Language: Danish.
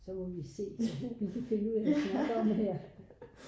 Så må vi se hvad vi kan finde ud af at snakke om her